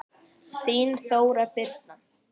Þín Þóra Birna.